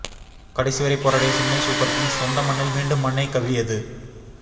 கடைசி வரை போராடிய சென்னை சூப்பர் கிங்ஸ் சொந்த மண்ணில் மீண்டும் மண்ணை கவ்வியது